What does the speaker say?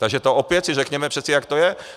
Takže to si opět řekněme přeci, jak to je.